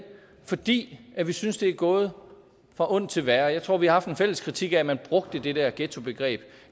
fordi vi synes det er gået fra ondt til værre jeg tror vi har haft en fælles kritik af at man brugte det der ghettobegreb